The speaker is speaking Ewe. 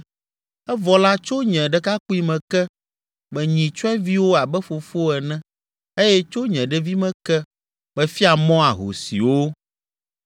evɔ la tso nye ɖekakpuime ke, menyi tyɔẽviwo abe fofo ene eye tso nye ɖevime ke, mefia mɔ ahosiwo.